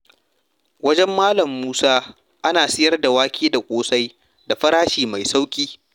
Wajen Malam Musa, ana sayar da wake da ƙosai da farashi mai sauƙi.